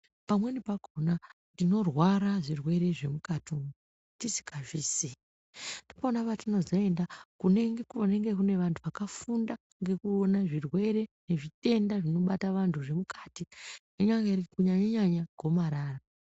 Pamweni pakona ndinorwara zvirwere zvemukati Ndipona oatinozoenda kune vantu vakafunda Nekuona nekubatwa zvirwere zvinobata vantu zvemukati kunyanganya gomarara.